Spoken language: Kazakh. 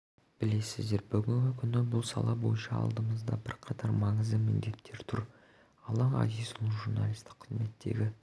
білесіздер бүгінгі күні бұл сала бойынша алдымызда бірқатар маңызды міндеттер тұр алан ғазизұлының журналистік қызметтегі